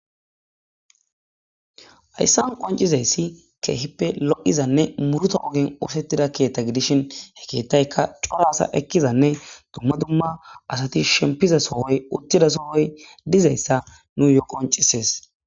hayssan qoncizayssi keehippe lo'izanne muruta ogen oosettida keetta gidishin he keettaykka corasa ekkizanne dumma dumma asati shempiza sohoy uttida sohoy dizayssa nuyo qoncises.